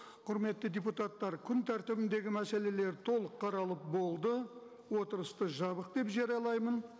құрметті депутаттар күн тәртібіндегі мәселелер толық қаралып болды отырысты жабық деп жариялаймын